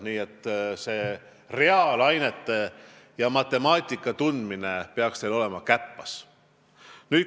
Nii et reaalainete, sh matemaatika tundmine peaks teil käpas olema.